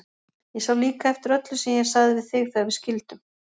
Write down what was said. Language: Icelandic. Ég sá líka eftir öllu sem ég sagði við þig þegar við skildum.